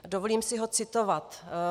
Dovolím si ho citovat.